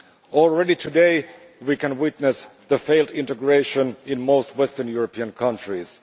Already today we can witness the failed integration in most Western European countries.